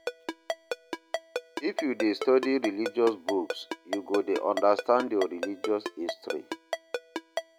If you dey study religious books you go dey understand your religious history